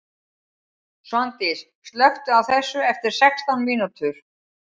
Svandís, slökktu á þessu eftir sextán mínútur.